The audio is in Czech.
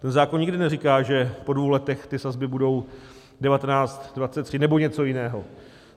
Ten zákon nikde neříká, že po dvou letech ty sazby budou 19, 23 nebo něco jiného.